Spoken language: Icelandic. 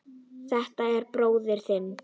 Er þetta bróðir þinn?